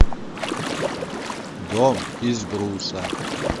дом из бруса